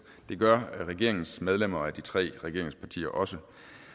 det gør regeringens medlemmer af de tre regeringspartier også